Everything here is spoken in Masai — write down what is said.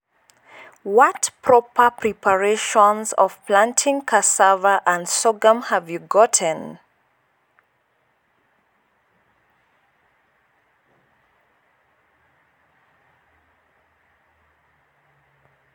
Reading in English a sentence tats written here.